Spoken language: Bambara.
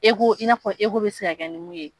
i n'a fɔ bɛ se ka kɛ ni min ye